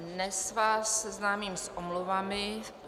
Dnes vás seznámím s omluvami.